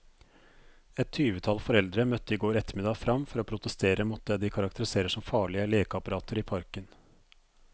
Et tyvetall foreldre møtte i går ettermiddag frem for å protestere mot det de karakteriserer som farlige lekeapparater i parken.